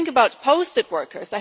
Let us think about posted workers.